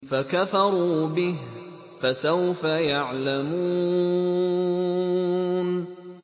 فَكَفَرُوا بِهِ ۖ فَسَوْفَ يَعْلَمُونَ